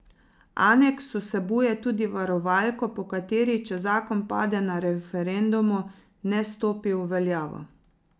Aneks vsebuje tudi varovalko, po kateri, če zakon pade na referendumu, ne stopi v veljavo.